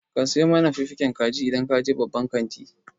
Ka sayo min fiffigen kaji idan ka je babban kanti.